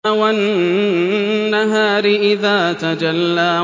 وَالنَّهَارِ إِذَا تَجَلَّىٰ